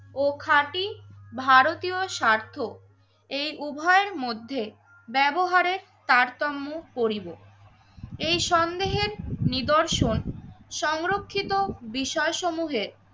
ও খাঁটি ভারতীয় স্বার্থ এই উভয়ের মধ্যে ব্যবহারে তারতম্য করিনি। এই সন্দেহের নিদর্শন সংরক্ষিত বিষয় সমূহে